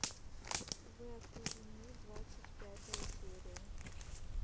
вы окружены двадцать пятая серия